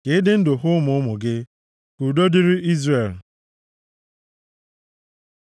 ka ị dị ndụ hụ ụmụ ụmụ gị. Ka udo dịrị Izrel. + 128:6 \+xt Abụ 125:5\+xt*